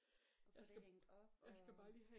Og få det hængt op og